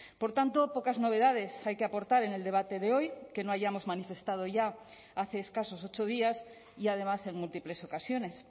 por tanto pocas novedades hay que aportar en el debate de hoy que no hayamos manifestado ya hace escasos ocho días y además en múltiples ocasiones